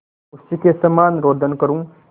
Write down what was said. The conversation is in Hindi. उसी के समान रोदन करूँ